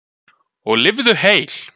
Og lifðu heil!